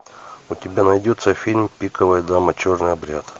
у тебя найдется фильм пиковая дама черный обряд